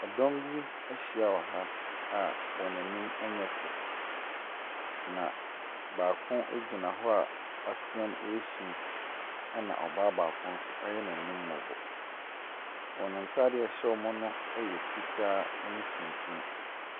Ɛdɔm bi ahyia wɔ ha a wɔn anim nyɛ fɛ. Na baako gyina hɔ a watea resu. Ɛna ɔbaako nso ayɛ n'anim mmɔbɔ. Wɔn ntaadeɛ a ɛhyɛ wɔn no yɛ fitaa ne tumtum.